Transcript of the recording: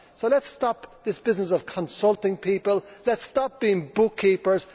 So let us stop this business of consulting people, let us stop being book keepers.